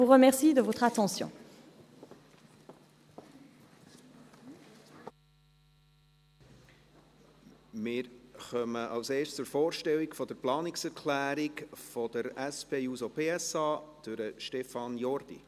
Wir kommen als Erstes zur Vorstellung der Planungserklärung der SP-JUSO-PSA durch Stefan Jordi.